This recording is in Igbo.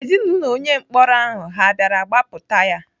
Ezinaụlọ onye mkpọrọ ahụ ha bịara gbapụta ya?